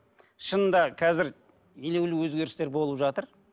шынында қазір елеулі өзгерістер болып жатыр